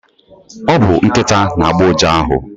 Ọ bu Nkịta na agbo uja ahụ